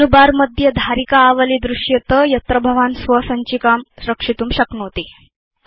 मेनुबारमध्ये धारिका आवली दृश्येत यत्र भवान् स्वसञ्चिकां रक्षितुं शक्नोति